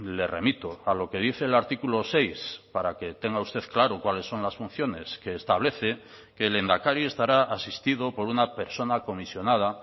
le remito a lo que dice el artículo seis para que tenga usted claro cuáles son las funciones que establece que el lehendakari estará asistido por una persona comisionada